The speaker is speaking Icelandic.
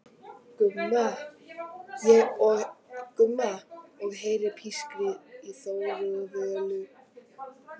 Gumma og heyrir pískrið í Þóru og Völu.